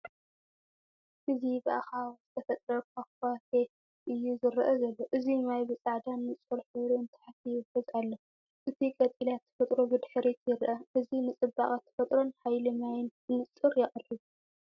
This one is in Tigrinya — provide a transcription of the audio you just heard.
እዚ ብኣኻውሕ ዝተፈጥረ ፏፏቴ እዩ ዝረአ ዘሎ። እቲ ማይ ብጻዕዳን ንጹርን ሕብሪ ንታሕቲ ይውሕዝ ኣሎ። እቲ ቀጠልያ ተፈጥሮ ብድሕሪት ይርአ፤ እዚ ንጽባቐ ተፈጥሮን ሓይሊ ማይን ብንጹር የቕርብ።